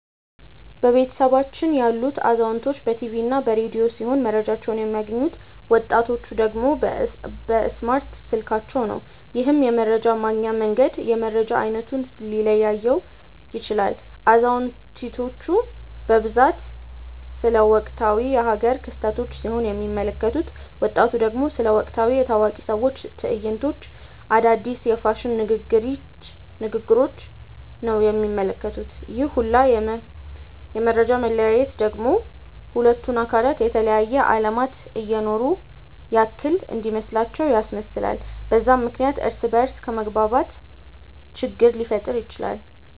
በቤተሰባችን ያሉት አዛውንቶች በ ቲቪ እና በ ረዲዮ ሲሆም መረጃቸውን የሚያገኙት፤ ወጣቲቹ ደግሞ በእስማርት ስልካቸው ነው። ይህም የመረጃ ማግኛ መንገድ የመረጃ አይነቱን ሊለያየው ይችላል። አዛውንቲቹ በብዛት ስለ ወቅታዊ የ ሃገር ክስተቶች ሲሆን የሚመለከቱት፤ ወጣቱ ደግሞ ስለ ወቅታዊ የ ታዋቂ ሰዎች ትዕይንቶች፣ አዳዲስ የ ፋሽን ንግግሪች ነው የሚመለከቱት፤ ይህ ሁላ የ መፈጃ መለያየት ደግሞ ሁለቱን አካላት የተለያየ አለማት እየኖሩ ያክል እንዲመስላቸው ያስመስላል፤ በዛም ምክንያት እርስ በ እርስ ከመግባባት ችግር ሊፈጠር ይችላል።